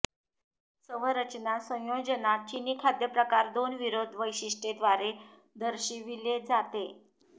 चव रचना संयोजना चीनी खाद्यप्रकार दोन विरोध वैशिष्ट्ये द्वारे दर्शविले जाते